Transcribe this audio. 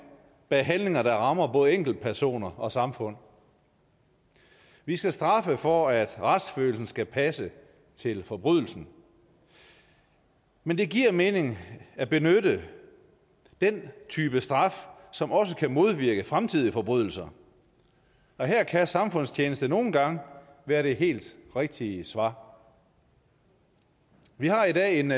bag handlinger der rammer både enkeltpersoner og samfund vi skal straffe for at retsfølelsen skal passe til forbrydelsen men det giver mening at benytte den type straf som også kan modvirke fremtidige forbrydelser og her kan samfundstjeneste nogle gange være det helt rigtige svar vi har i dag en